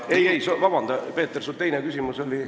Ei-ei, vabanda, Peeter, su teine küsimus oli ...